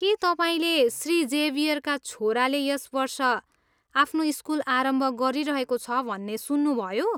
के तपाईँले श्री जेभियरका छोराले यस वर्ष आफ्नो स्कुल आरम्भ गरिरहेको छ भन्ने सुन्नुभयो?